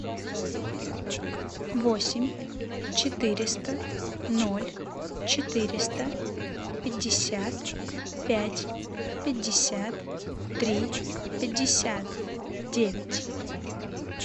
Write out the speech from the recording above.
восемь четыреста ноль четыреста пятьдесят пять пятьдесят три пятьдесят девять